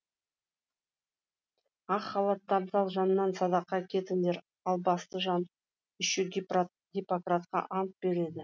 ақ халатты абзал жаннан садақа кетіңдер албасты жан еще гиппократқа ант береді